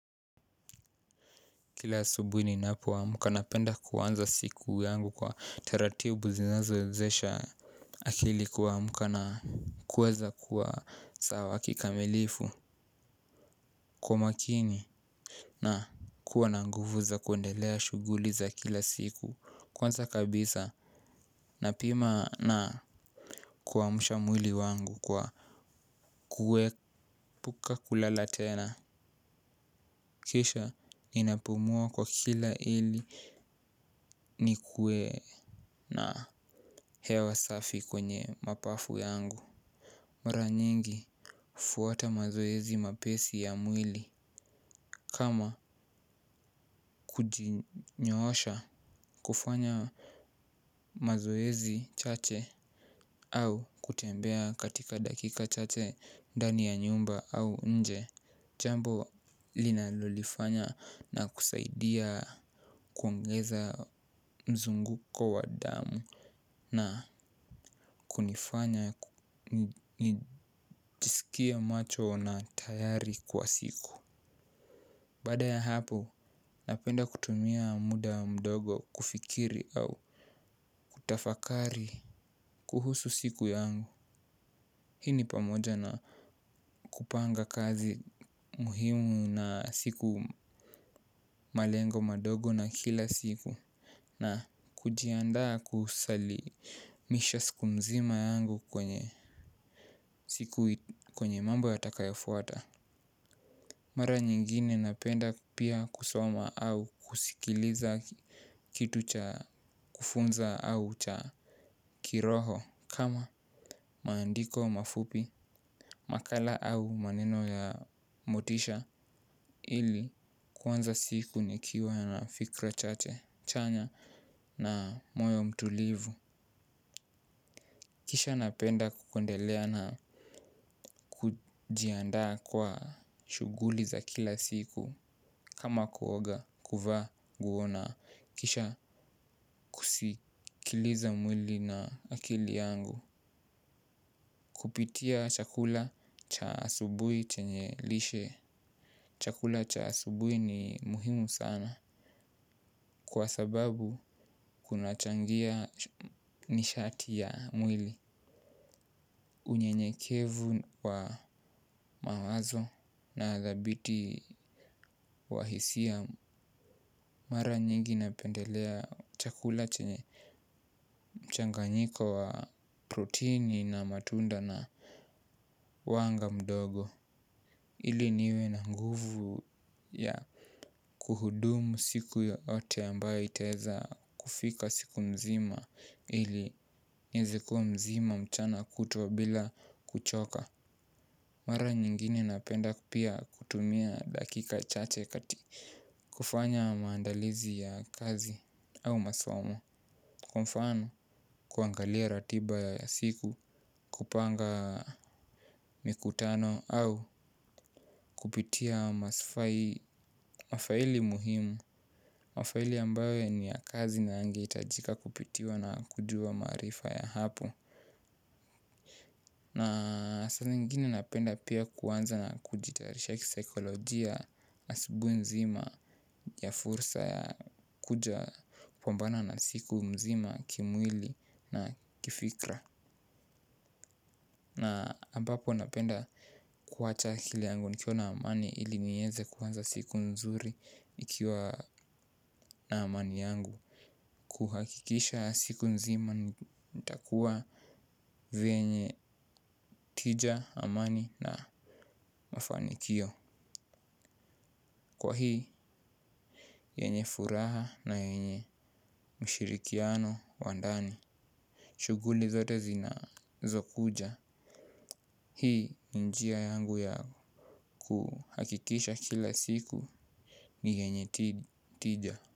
Kila asubuhi ninapoamka napenda kuanza siku yangu kwa taratibu zinazowezesha akili kuamka na kuweza kuwa sawa kikamilifu kwa makini na kuwa na nguvu za kuendelea shughuli za kila siku kwanza kabisa napima na kuamsha mwili wangu kwa kuepuka kulala tena. Kisha ninapumua kwa kina ili nikuwel na hewa safi kwenye mapafu yangu. Mara nyingi hufuata mazoezi mapesi ya mwili kama kujinyoosha, kufanya mazoezi chache au kutembea katika dakika chache ndani ya nyumba au nje. Jambo linalolifanya na kusaidia kuongeza mzunguko wa damu na kunifanya nijisikie macho na tayari kwa siku. Baada ya hapo napenda kutumia muda mdogo kufikiri au kutafakari kuhusu siku yangu. Hii ni pamoja na kupanga kazi muhimu na siku malengo madogo na kila siku na kujiandaa kusalimisha siku mzima yangu kwenye siku kwenye mambo yatakayofuata mara nyingine napenda pia kusoma au kusikiliza kitu cha kufunza au cha kiroho kama, maandiko mafupi makala au maneno ya motisha ili kuanza siku nikiwa na fikra chache chanya na moyo mtulivu. Kisha napenda kuendelea na kujiandaa kwa shughuli za kila siku kama kuoga kuvaa nguo na kisha kusikiliza mwili na akili yangu. Kupitia chakula cha asubuhi chenye lishe chakula chasubui ni muhimu sana. Kwa sababu kunachangia nishati ya mwili. Unyenyekevu wa mawazo na dhabiti wa hisia mara nyingi napendelea chakula chenye mchanganyiko wa proteini na matunda na wanga mdogo. Ili niwe na nguvu ya kuhudumu siku yote ambayo itaeza kufika siku mzima. Ili nieze kuwa mzima mchana kutwa bila kuchoka. Mara nyingine napenda pia kutumia dakika chache kati kufanya maandalizi ya kazi au masomo. Kwa mfano kuangalia ratiba ya siku kupanga mikutano au kupitia mafaili muhimu mafaili ambayo ni ya kazi na yangehitajika kupitiwa na kujua maarifa ya hapo. Na saa zingine napenda pia kuanza na kujitayarisha kisaikolojia asubuhi nzima ya fursa ya kuja kupambana na siku nzima kimwili na kifikra. Na ambapo napenda kuwacha akili yangu nikiwa na amani ili nieze kuanza siku nzuri nikiwa na amani yangu. Kuhakikisha siku nzima nitakuwa venye tija, amani na mafanikio. Kwa hii, yenye furaha na yenye mshirikiano wa ndani shughuli zote zinazokuja hii ni njia yangu ya kuhakikisha kila siku ni yenye tija.